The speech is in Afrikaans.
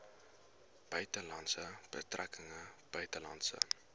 buitelandse betrekkinge buitelandse